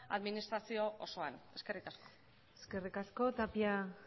administrazio osoan eskerrik asko eskerrik asko tapia